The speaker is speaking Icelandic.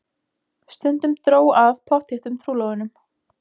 Stundum dró að pottþéttum trúlofunum.